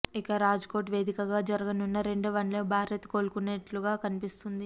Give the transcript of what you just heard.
ఇక రాజ్కోట్ వేదికగా జరగనున్న రెండో వన్డేలో భారత్ కోలుకునేట్లుగానే కనిపిస్తుంది